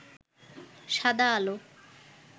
সাদা আলো